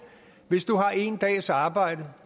hvis du har en dags arbejde